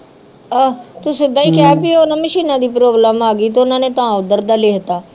ਆਹੋ ਤੂੰ ਸਿੱਧਾ ਹੀ ਕਹਿ ਬੀ ਉਹ ਨਾ ਮਸ਼ੀਨਾਂ ਦੀ ਪ੍ਰੋਬਲਮ ਆਗੀ ਤੇ ਓਹਨਾ ਨੇ ਤਾ ਓਦਰ ਦਾ ਲਿਖਤਾਂ